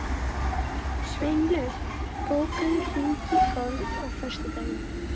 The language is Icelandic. Sveinlaug, bókaðu hring í golf á föstudaginn.